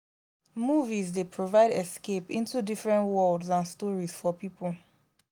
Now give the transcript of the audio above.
movies dey provide escape into different worlds and stories for people.